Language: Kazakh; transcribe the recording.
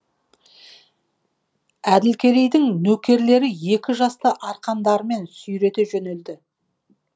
әділкерейдің нөкерлері екі жасты арқандарымен сүйрете жөнелді